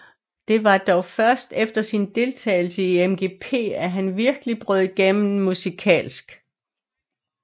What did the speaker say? Det var dog først efter sin deltagelse i MGP at han virkelig brød igennem musikalsk